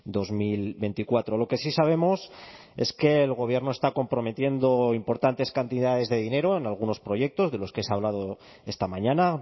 dos mil veinticuatro lo que sí sabemos es que el gobierno está comprometiendo importantes cantidades de dinero en algunos proyectos de los que se ha hablado esta mañana